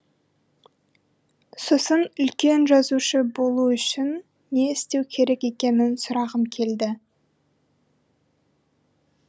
сосын үлкен жазушы болу үшін не істеу керек екенін сұрағым келді